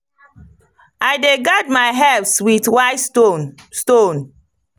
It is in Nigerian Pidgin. i dey guard my herbs with white stone. stone.